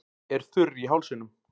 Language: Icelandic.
Er þurr í hálsinum.